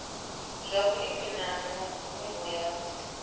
zwa vhulimi na mvumbo ya